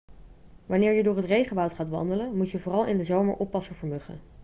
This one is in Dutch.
wanneer je door het regenwoud gaat wandelen moet je vooral in de zomer oppassen voor muggen